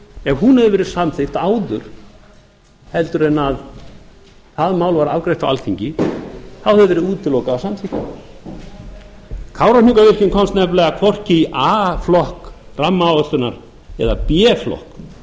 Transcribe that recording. ef sú tillaga hefði verið samþykkt áður en það mál var afgreitt á alþingi þá hefði verið útilokað að samþykkja hana kárahnjúkavirkjun komst nefnilega hvorki í a flokk rammaáætlunar eða b flokk